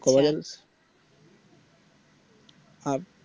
এটা কবে যাবে আব